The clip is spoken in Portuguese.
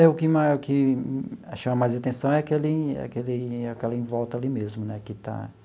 É, o que mar o que chama mais atenção é aquele aquele aquela em volta ali mesmo, né? Que está